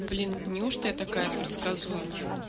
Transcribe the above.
блин неужто я такая предсказуемая